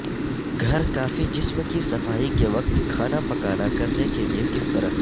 گھر کافی جسم کی صفائی کے وقت کھانا پکانا کرنے کے لئے کس طرح